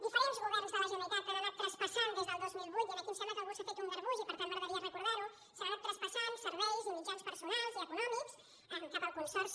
di·ferents governs de la generalitat han anat traspassant des del dos mil vuit i aquí em sembla que algú s’ha fet un garbuix i per tant m’agradaria recordar·ho serveis i mitjans personals i econòmics cap al consorci